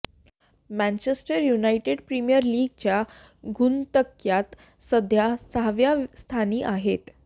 Manchester United Premier लीगच्या गुणतक्त्यात सध्या सहाव्या स्थानी आहेत